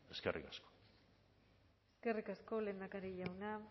eskerrik asko eskerrik asko lehendakari jauna